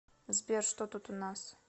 сбер что тут у нас